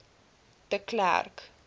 de klerk